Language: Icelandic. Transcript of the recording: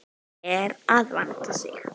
Nú ber að vanda sig!